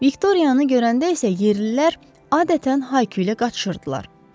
Viktoriyanı görəndə isə yerlilər adətən Hayküylə qaçışırdılar.